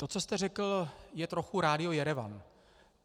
To, co jste řekl, je trochu rádio Jerevan.